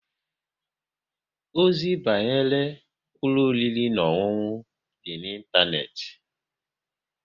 Ozi banyere ụlọ oriri na ọṅụṅụ dị n'Ịntaneti